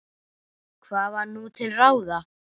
Hvað var nú til ráða?